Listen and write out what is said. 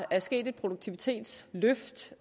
er sket et produktivitetsløft